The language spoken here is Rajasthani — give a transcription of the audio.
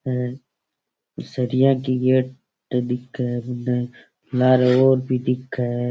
और सरिया की गेट दिखे है मने लारे और भी दिखे है।